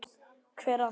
Hver á þig?